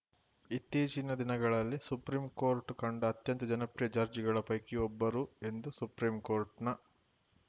ಇತ್ತೀಚಿನ ದಿನಗಳಲ್ಲಿ ಸುಪ್ರೀಂಕೋರ್ಟ್‌ ಕಂಡ ಅತ್ಯಂತ ಜನಪ್ರಿಯ ಜಡ್ಜ್‌ಗಳ ಪೈಕಿ ಒಬ್ಬರು ಎಂದು ಸುಪ್ರೀಂಕೋರ್ಟ್‌ನ